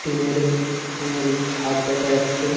Tin - এর এর ছাদ দেখা যাচ্ছে ।